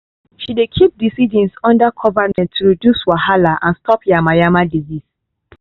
she dey keep the seedlings under cover net to reduce wahala and stop yamayama disease